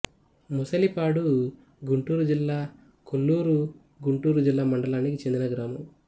ముసలిపాడు గుంటూరు జిల్లా కొల్లూరు గుంటూరు జిల్లా మండలానికి చెందిన గ్రామం